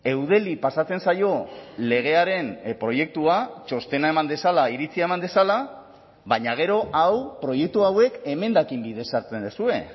eudeli pasatzen zaio legearen proiektua txostena eman dezala iritzia eman dezala baina gero hau proiektu hauek emendakin bidez hartzen duzue